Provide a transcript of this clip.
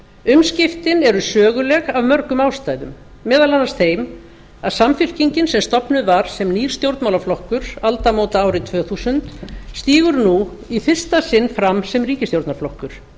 umskiptin eru söguleg af mörgum ástæðum meðal annars þeim að samfylkingin sem stofnuð var sem nýr stjórnmálaflokkur aldamótaárið tvö þúsund stígur nú í fyrsta sinn fram sem ríkisstjórnarflokkur